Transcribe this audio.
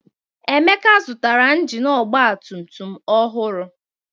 Emeka zụtara injini ọgbatumtum ọhụrụ.